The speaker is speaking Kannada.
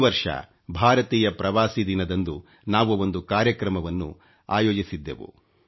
ಈ ವರ್ಷ ಭಾರತೀಯ ಪ್ರವಾಸೀ ದಿನದಂದು ನಾವು ಒಂದು ಕಾರ್ಯಕ್ರಮವನ್ನು ಆಯೋಜಿಸಿದ್ದೆವು